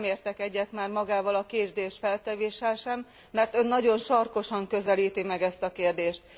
Bár nem értek egyet már magával a kérdésfeltevéssel sem, mert Ön nagyon sarkosan közelíti meg ezt a kérdést.